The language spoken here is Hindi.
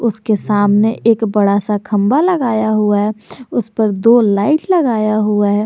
उसके सामने एक बड़ा सा खंबा लगाया हुआ है उस पर दो लाइट लगाया हुआ है।